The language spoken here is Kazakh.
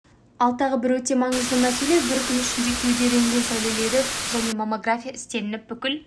ал тағы бір өте маңызды мәселе бір күн ішінде кеуде рентген сәулелері және маммография істелініп бүкіл